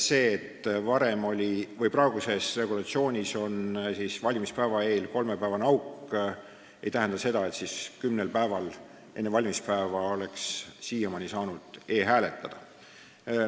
See, et praeguse regulatsiooni järgi on valimispäeva eel kolmepäevane auk, ei tähenda seda, nagu siiamaani oleks saanud kümnel päeval enne valimispäeva e-hääletada.